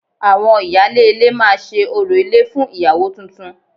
Àwọn ìyálé ilé máa ṣe orò ilé fún ìyàwó tuntun